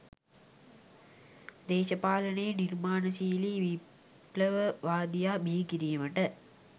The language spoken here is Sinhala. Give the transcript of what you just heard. දේශපාලනයේ නිර්මාණශීලී විප්ලවවාදියා බිහිකිරීමට